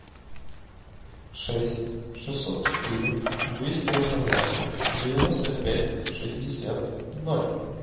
шесть шестьсот четыре двести восемнадцать девяносто пять шестьдесят ноль